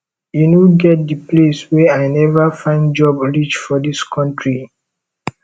e no get di place wey i neva find job reach for dis country